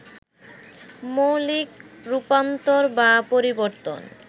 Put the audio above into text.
মৌলিক রূপান্তর বা পরিবর্তন